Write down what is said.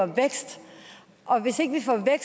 vækst